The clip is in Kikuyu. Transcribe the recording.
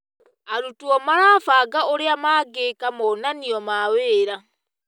Arutwo marabanga ũrĩa mangĩĩka monanio ma wĩra.